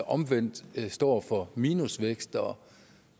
omvendt står for minusvækst og